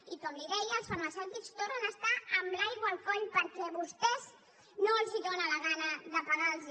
i com li deia els farmacèutics tornen a estar amb l’aigua al coll perquè a vostès no els dóna la gana de pagar los